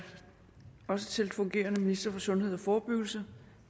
også til den fungerende minister for sundhed og forebyggelse